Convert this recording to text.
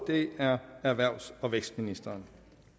er erhvervs og vækstministeren